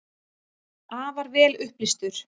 Afar vel upplýstur.